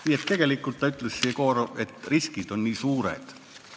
Nii et tegelikult ütles Jegorov, et riskid on nii suured.